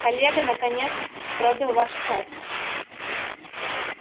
коллега наконец пробил ваш час